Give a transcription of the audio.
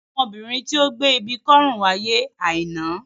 Ọmọbìnrin tí ó gbé ibi kọ́ ọrùn wáyé Aina.